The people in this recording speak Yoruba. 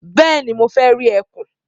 Bẹ́ẹ̀ni, mo fẹ́ rí ẹkùn.